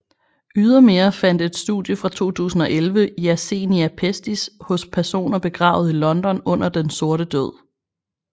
Ydermere fandt et studie fra 2011 Yersinia pestis hos personer begravet i London under Den sorte død